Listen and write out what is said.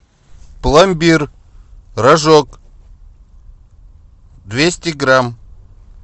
пломбир рожок двести грамм